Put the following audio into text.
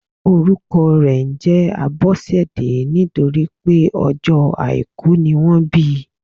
Orúkọ rè njé Abósèdé nítorípé ọjó àìkú ni wọ́n bi